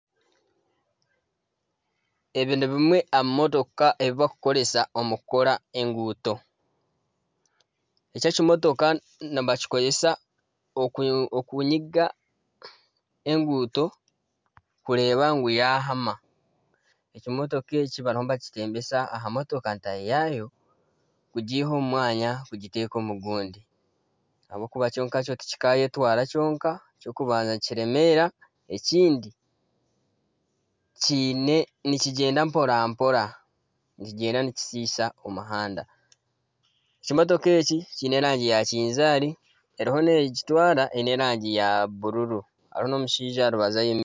Ebi ni bimwe aha bimotooka ebibakukoresa omu kukora enguuto eki ekimotooka nibakikoresa okunyiga enguuto kureeba ngu yahama ekimotooka eki bariyo nibakiteembesa aha motooka tahi yakyo gujiha omu mwanya gukiteeka omu gundi ahabw’okuba kyo nka kyo tikikayetwara kyonka, eky'okubanza nikiremeera ekindi nikigyenda mporampora nikigyenda nikishisha omuhanda ekimotooka eki kyine erangi ya kizaari eriho n'ekitwara eine erangi ya bururu hariho n'omushaija aha rubaju ayemereire.